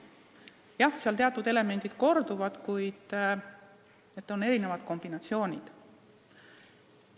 Jah, teatud elemendid korduvad, kuid on erinevad kombinatsioonid.